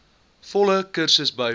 volle kursus bywoon